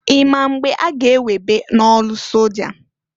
I ma mgbe a ga- ewebe n'ọlụ soja?